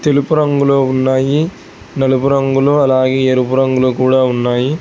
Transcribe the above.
తెలుపు రంగులో ఉన్నాయి నలుపు రంగులో అలాగే ఎరుపు రంగులో కూడా ఉన్నాయి.